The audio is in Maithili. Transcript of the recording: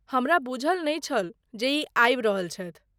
हमरा बूझल नहि छल जे ई आबि रहल छथि।